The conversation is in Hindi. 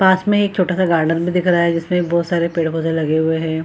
पास में एक छोटा-सा गार्डन भी दिख रहा है जिसमें बहुत सारे पेड़-पौधे लगे हुए है।